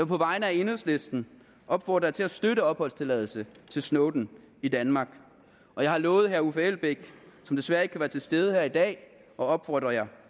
på vegne af enhedslisten opfordre jer til at støtte opholdstilladelse til snowden i danmark og jeg har lovet herre uffe elbæk som desværre ikke kan være til stede her i dag at opfordre jer